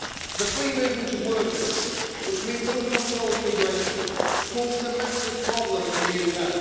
The free movement of workers, which means uncontrolled immigration, causes a massive problem in the UK.